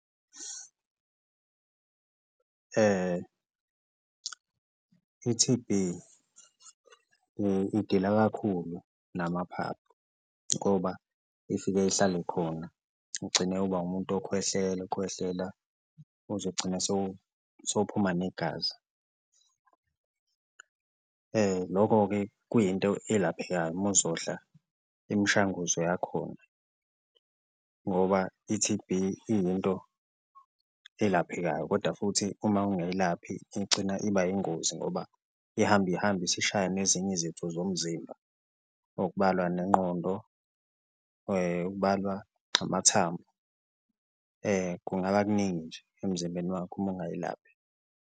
I-T_B idila kakhulu namaphaphu ngoba ifike ihlale khona ugcine uba umuntu okhwehlela ukhwehlela uze ugcine sowuphuma negazi, loko-ke kuyinto elaphekayo uma uzodla imishanguzo yakhona ngoba i-T_B iyinto elaphekayo koda futhi uma ungayilaphi igcina iba ingozi ngoba ihamba ihambe isishaya nezinye izitho zomzimba. Okubalwa nengqondo, okubalwa amathambo kungaba kuningi nje emzimbeni wakho uma ungayilaphi.